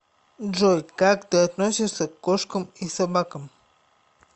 джой как ты относишься к кошкам и собакам